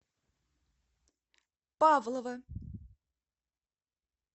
павлова